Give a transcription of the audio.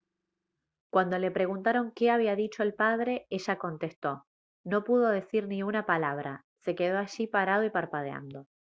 cuando le preguntaron qué había dicho el padre ella contestó «no pudo decir ni una palabra se quedó allí parado y parpadeando»